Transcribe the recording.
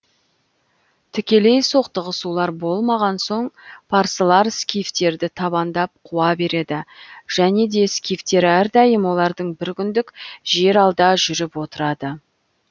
тікелей соқтығысулар болмаған соң парсылар скифтерді табандап қуа береді және де скифтер әрдайым олардан бір күндік жер алда жүріп отырады